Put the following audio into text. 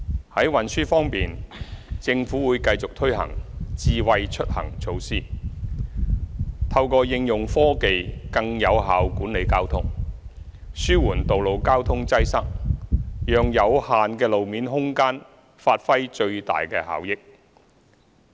在運輸方面，政府會繼續推行"智慧出行"措施，透過應用科技更有效管理交通，紓緩道路交通擠塞，讓有限的路面空間發揮最大效益。